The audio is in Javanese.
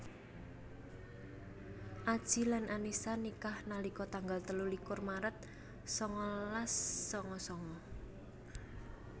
Adji lan Annisa nikah nalika tanggal telu likur maret sangalas sanga sanga